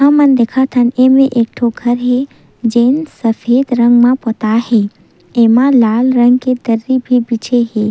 हमन दिखत हन एमे एक ठो घर हे जेन सफ़ेद रंग मा पोताय हे जेमा लाल रंग के दरी भी बिछे हे।